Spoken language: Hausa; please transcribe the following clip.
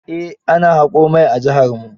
Eh ana haƙo mai a jiharmu.